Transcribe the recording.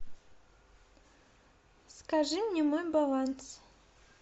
скажи мне мой баланс